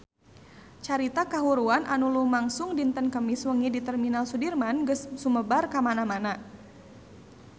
Carita kahuruan anu lumangsung dinten Kemis wengi di Terminal Sudirman geus sumebar kamana-mana